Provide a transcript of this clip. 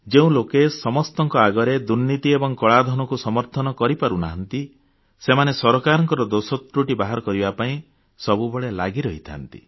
ଯେଉଁ ଲୋକେ ସମସ୍ତଙ୍କ ଆଗରେ ଦୁର୍ନୀତି ଏବଂ କଳାଧନକୁ ସମର୍ଥନ କରିପାରୁ ନାହାନ୍ତି ସେମାନେ ସରକାରଙ୍କ ଦୋଷତ୍ରୁଟି ବାହାର କରିବା ପାଇଁ ସବୁବେଳେ ଲାଗି ରହିଥାନ୍ତି